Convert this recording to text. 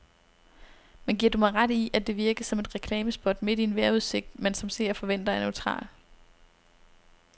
Men giver du mig ret i, at det virkede som et reklamespot midt i en vejrudsigt, man som seer forventer er neutral.